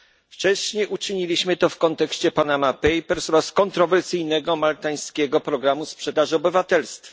Wcześniej uczyniliśmy to w kontekście Panama Papers oraz kontrowersyjnego maltańskiego programu sprzedaży obywatelstwa.